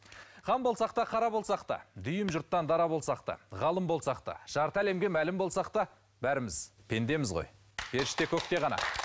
хан болсақ та қара болсақ та дүйім жұрттан дара болсақ та ғалым болсақ та жарты әлемге мәлім болсақ та бәріміз пендеміз ғой періште көкте ғана